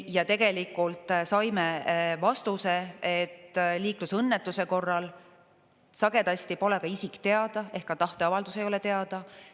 Ja tegelikult saime vastuse, et liiklusõnnetuse korral sagedasti pole ka isik teada ehk ka tahteavaldus ei ole teada.